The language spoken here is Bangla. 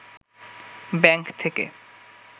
ব্যাংক থেকে